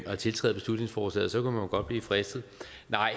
at tiltræde beslutningsforslaget så man kunne jo godt blive fristet nej